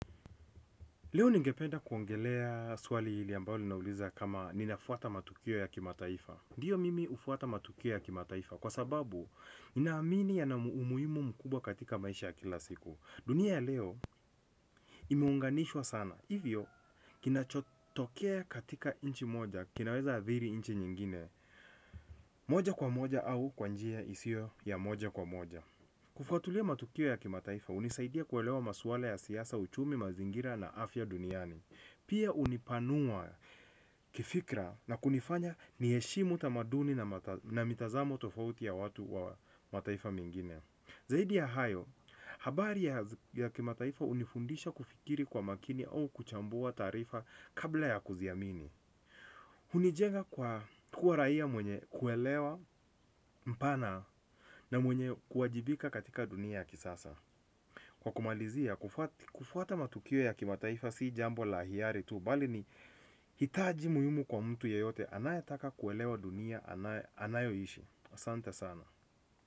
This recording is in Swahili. Leo ningependa kuongelea suali hili ambao linauliza kama ninafuata matukio ya kimataifa. Ndiyo mimi ufuata matukio ya kimataifa kwa sababu nina amini yana umuimu mkubwa katika maisha ya kila siku. Dunia ya leo imeunganishwa sana. Hivyo kinachotokea katika inchi moja, kinaweza adhiri inchi nyingine. Moja kwa moja au kwa njia isio ya moja kwa moja. Kufuatulia matukio ya kimataifa unisaidia kuwelewa masuala ya siasa uchumi mazingira na afya duniani pia hunipanua kifikra na kunifanya nieshimu tamaduni na mitazamo tofauti ya watu ya mataifa mengine. Zaidi ya hayo, habari ya kimataifa unifundisha kufikiri kwa makini au kuchambua tarifa kabla ya kuziamini. Unijenga kwa kuwa raia mwenye kuelewa mpana na mwenye kuwajibika katika dunia ya kisasa. Kwa kumalizia, kufuata matukio ya kimataifa sii jambo la hiari tu, bali ni hitaji muhimu kwa mtu ya yote, anayetaka kuelewa dunia anayo ishi, asante sana.